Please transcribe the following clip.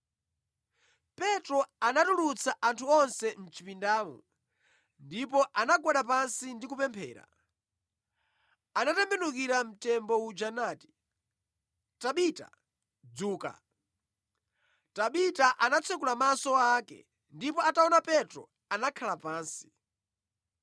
Petro anatulutsa anthu onse mʼchipindamo; ndipo anagwada pansi ndi kupemphera. Anatembenukira mtembo uja nati, “Tabita, dzuka,” Tabita anatsekula maso ake, ndipo ataona Petro anakhala pansi.